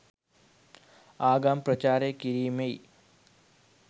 ආගම් ප්‍රචාරය කිරිමෙයි